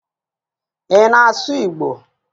Ị na-asụ Igbo?